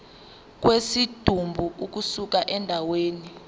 kwesidumbu ukusuka endaweni